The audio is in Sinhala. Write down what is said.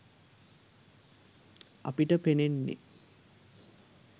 අපිට පෙනෙන්නෙ